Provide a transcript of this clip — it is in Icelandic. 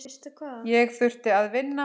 Ég þurfti að vinna.